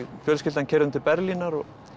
fjölskyldan keyrðum til Berlínar